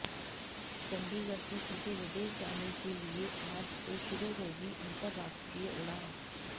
चंडीगढ़ से सीधे विदेश जाने के लिए आज से शुरू होगी अंतरराष्ट्रीय उड़ान